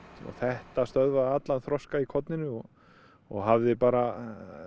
og þetta stöðvaði allan þroska í korninu og og hafði bara